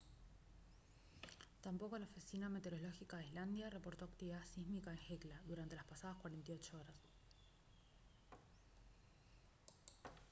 tampoco la oficina meteorológica de islandia reportó actividad sísmica en hekla durante las pasadas 48 horas